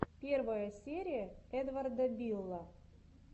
первая серия эдварда билла